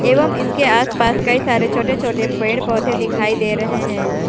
एवं इसके आसपास कई सारे छोटे छोटे पेड़ पौधे दिखाई दे रहे हैं।